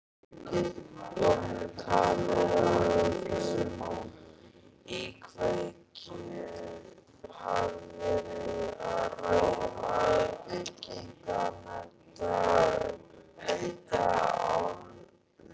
Jóhann, er talið að um íkveikju hafi verið að ræða?